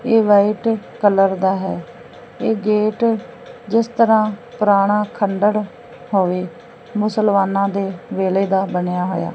ਇਹ white colour ਦਾ ਹੈ ਇਹ ਗੇਟ ਜਿਸ ਤਰ੍ਹਾਂ ਪੁਰਾਣਾ ਖੰਡੜ ਹੋਵੇ ਮੁਸਲਮਾਨਾਂ ਦੇ ਵੇਲ਼ੇ ਦਾ ਬਨਿਆ ਹੋਇਆ।